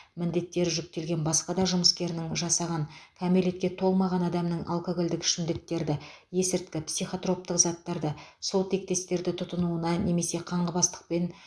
міндеттер жүктелген басқа да жұмыскерінің жасаған кәмелетке толмаған адамның алкогольдік ішімдіктерді есірткі психотроптық заттарды сол тектестерді тұтынуына немесе қаңғыбастықпен